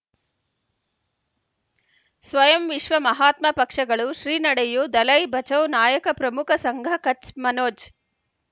ಸ್ವಯಂ ವಿಶ್ವ ಮಹಾತ್ಮ ಪಕ್ಷಗಳು ಶ್ರೀ ನಡೆಯೂ ದಲೈ ಬಚೌ ನಾಯಕ ಪ್ರಮುಖ ಸಂಘ ಕಚ್ ಮನೋಜ್